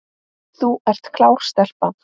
Þú ert klár stelpa.